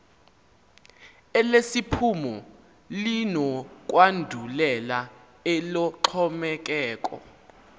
elesiphumo linokwandulela eloxhomekeko